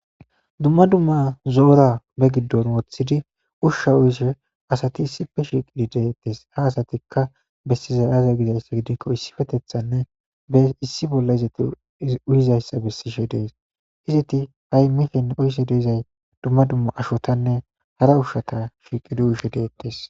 dumma dumma zoora be giddon woththidi ushsha uyishe asati issife shiqidi deettes ha asatikka bessiza aze gizayssa gidikko issifetethanne be issi bolla izati uyizayssa bessishe dees hizeti ha7i mifen uyise deezay dumma dumma ashotanne hara ushshata shiiqidi uyishe deettes